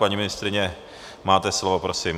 Paní ministryně, máte slovo, prosím.